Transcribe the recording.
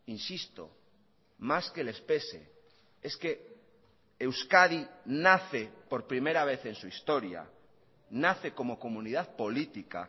insisto más que les pese es que euskadi nace por primera vez en su historia nace como comunidad política